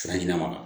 Sira ɲɛnama